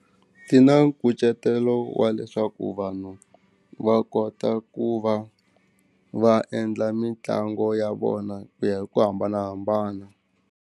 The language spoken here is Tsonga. Ti na nkucetelo wa leswaku vanhu va kota ku va va endla mitlangu ya vona ku ya hi ku hambanahambana.